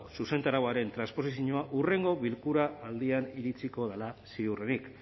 zuzentarauaren transposizioa hurrengo bilkura aldian iritsiko dela ziurrenik